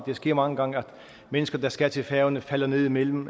sker mange gange at mennesker der skal til færøerne falder ned imellem